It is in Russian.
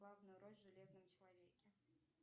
главная роль в железном человеке